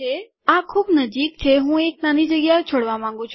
આ ખૂબ નજીક છે હું એક નાની ખાલી જગ્યા છોડવા માંગું છું